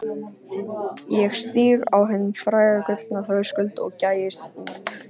Ég stíg á hinn fræga gullna þröskuld og gægist út.